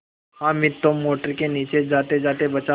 हामिद तो मोटर के नीचे जातेजाते बचा